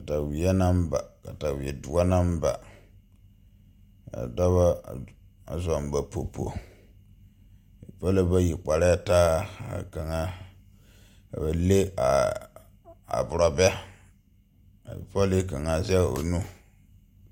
Kataweɛ naŋ ba katawe doɔ naŋ ba ka dɔbɔ a zɔŋ ba popo bipɔlɔ bayi karɛɛ taa ka kaŋa ka ba leŋ aborɔbɛ ka pɔlii kaŋa a zɛŋ o nu..